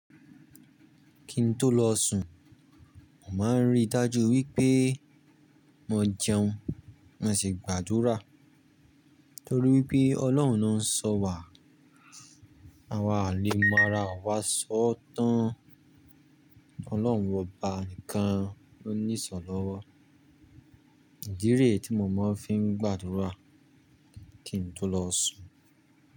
Kí n tó lọ sùn, màá ń rí i dájú wípé mo jẹun mo sì gbàdúrà torí wípé Ọlọ́run lo ń sọ wà. Awa àlè mára, àwa sọ tán. Ọlọ́run ọba nìkan ló ní ìsọ̀lọ́wọ́. Ìdí rẹ tí mo máa ń fi ń gbàdúrà kí n tó lọ sùn.